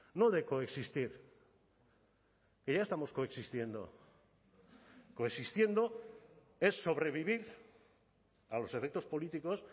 no de coexistir que ya estamos coexistiendo coexistiendo es sobrevivir a los efectos políticos